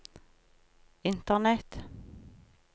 internett